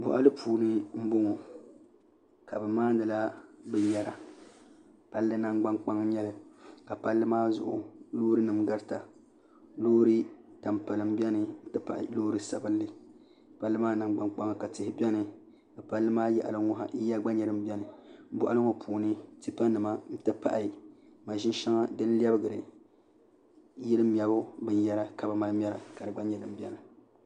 Boɣili puuni n boŋɔ ka bi maanila binyɛra palli nangbnkpŋ n nyɛli ka palli maa zuɣu loori nim garita loori tampilim biɛni n ti pahi loori sabinli palli maa Nanchang kpaŋa ka tihi biɛni di yaɣili n ŋo yiya gba nyɛl din biɛni boɣili ŋo puuni tipa nima n ti pahi maʒini shɛŋa din lɛbigiri yili mɛbu binyɛra ka bi mali mɛra ka di gba biɛni